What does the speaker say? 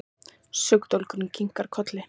Sökudólgurinn kinkar kolli.